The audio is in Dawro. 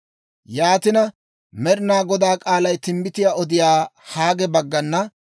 Yaatina, Med'inaa Godaa k'aalay timbbitiyaa odiyaa Haage baggana,